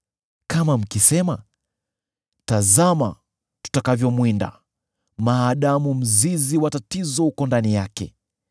“Kama mkisema, ‘Tazama tutakavyomwinda, maadamu mzizi wa tatizo uko ndani yake,’